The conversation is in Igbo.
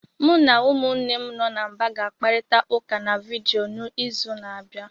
Mụ na umunnem no na mba ga-akparịta ụka na vidiyo n'izu na-abịa.